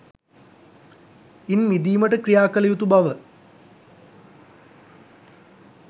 ඉන් මිදීමට ක්‍රියා කළ යුතු බව